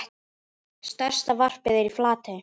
Stærsta varpið er í Flatey.